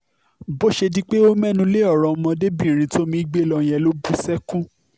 bó ṣe di pé ó mẹ́nu lé ọ̀rọ̀ ọmọdébìnrin tómi gbé lọ yẹn ló bú sẹ́kún